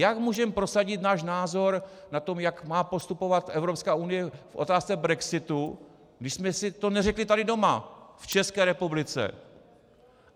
Jak můžeme prosadit náš názor na to, jak má postupovat Evropská unie v otázce brexitu, když jsme si to neřekli tady doma v České republice?